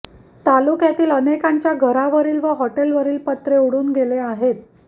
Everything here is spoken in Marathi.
तालुक्यातील अनेकांच्या घरावरील व हॉटेलवरील पत्रे उडून गेले आहेत